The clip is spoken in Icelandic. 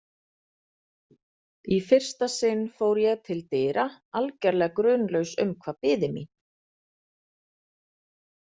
Í fyrsta sinn fór ég til dyra, algerlega grunlaus um hvað biði mín.